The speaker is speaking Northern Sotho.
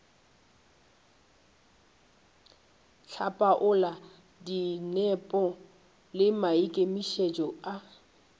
hlapaola dinepo le maikemišetšo a